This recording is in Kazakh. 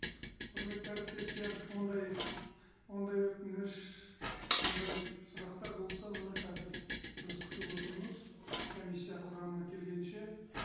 құрметті әріптестер ондай ондай өтініш ондай сұрақтар болса мына қазір біз күтіп отырмыз комиссия құрамы келгенше